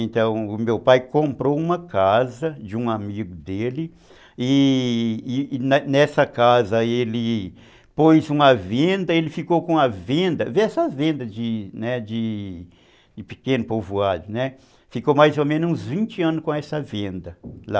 Então, o meu pai comprou uma casa de um amigo dele e e nessa casa ele pôs uma venda, ele ficou com a venda, vê venda, né, de de de pequeno povoado, né, ficou mais ou menos uns vinte anos com essa venda lá.